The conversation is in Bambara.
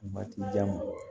Waati jan ma